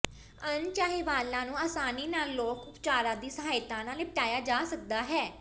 ਅਣਚਾਹੇ ਵਾਲਾਂ ਨੂੰ ਆਸਾਨੀ ਨਾਲ ਲੋਕ ਉਪਚਾਰਾਂ ਦੀ ਸਹਾਇਤਾ ਨਾਲ ਨਿਪਟਾਇਆ ਜਾ ਸਕਦਾ ਹੈ